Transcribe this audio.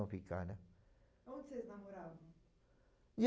ficar, né. Onde vocês namoravam?